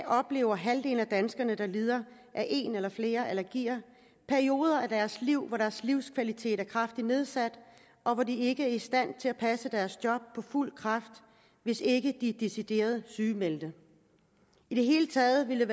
oplever halvdelen af danskerne der lider af en eller flere allergier perioder af livet hvor deres livskvalitet er kraftigt nedsat og hvor de ikke er i stand til at passe deres job på fuld kraft hvis ikke de er decideret sygemeldte i det hele taget ville